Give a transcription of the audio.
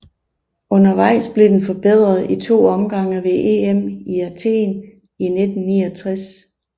Undervejs blev den forbedret i to omgange ved EM i Athen i 1969